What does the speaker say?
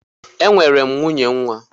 E nwere m nwunye nwa.